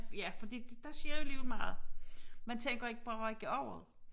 Ja fordi der sker alligevel meget man tænker ikke bare ikke over det